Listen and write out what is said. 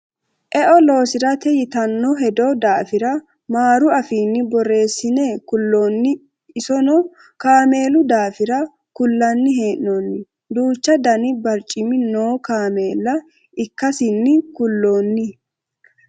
eo lossirate yitanno hedo daafira maaru afiinni borreessine kulloonni isono kaameelu daafira kullanni hee'noonni duuchu dani barcimi noo kameela ikkasino kulloonni